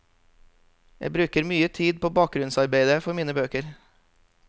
Jeg bruker mye tid på bakgrunnsarbeide for mine bøker.